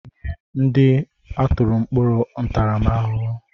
Nye ndị atụrụ mkpọrọ ntaramahụhụ!